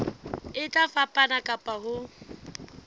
e tla fapana ka ho